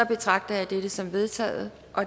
betragter jeg dette som vedtaget